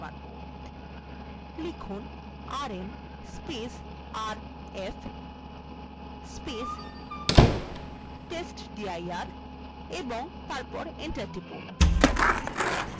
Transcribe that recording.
লিখুন rmrf testdir এবং তারপর enter টিপুন